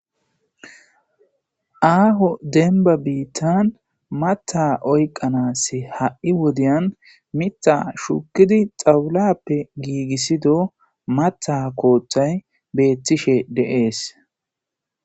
aaho denba biittan mata oyqanaas ha7i wodiyan mita shukidi xawulappe giigissido mata kooththay beettishe deees